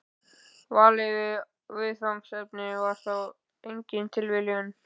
Valið á viðfangsefninu var þó engin tilviljun.